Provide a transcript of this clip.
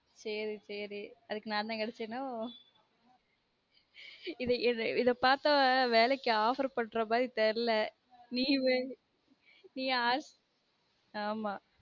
சேரி சேரி அதுக்கு நான் தான் கேடச்சனோ இது இது இத பார்த்த வேலைக்கு offer பண்ற மாதிரி தெரில நீ வேனா நீஅச நீ